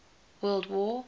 world war